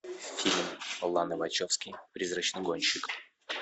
фильм ланы вачовски призрачный гонщик